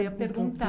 Eu ia perguntar.